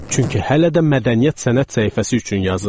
Çünki hələ də mədəniyyət, sənət səhifəsi üçün yazıram.